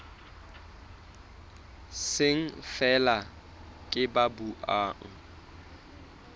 seng feela ke ba buang